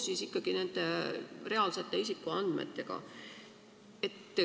Ja seda koos reaalsete isikuandmetega.